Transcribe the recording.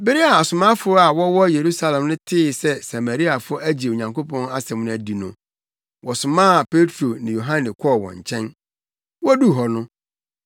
Bere a asomafo a wɔwɔ Yerusalem no tee sɛ Samariafo agye Onyankopɔn asɛm no adi no, wɔsomaa Petro ne Yohane kɔɔ wɔn nkyɛn.